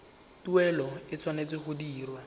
tuelo e tshwanetse go dirwa